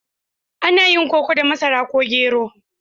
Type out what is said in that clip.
Ana yin koko da masara ko gero.